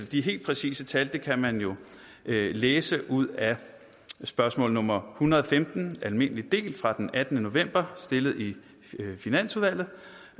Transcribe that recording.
de helt præcise tal kan man jo læse ud af spørgsmål nummer hundrede og femten almindelig del fra den attende november stillet i finansudvalget